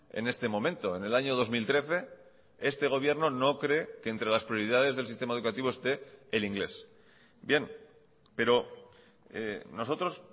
en este momento en el año dos mil trece este gobierno no cree que entre las prioridades del sistema educativo esté el inglés bien pero nosotros